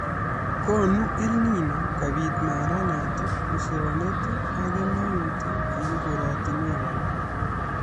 Konu EL Nino kobit maranet ,usonet ak kemeut eng korotinwek alak